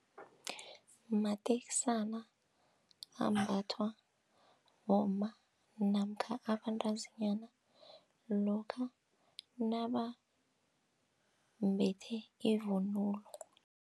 Mateksana ambathwa bomma namkha abantazinyana lokha nabambethe ivunulo.